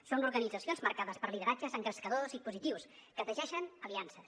són organitzacions marcades per lideratges engrescadors i positius que teixeixen aliances